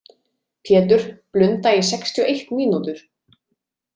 Pétur, blunda í sextíu og eitt mínútur.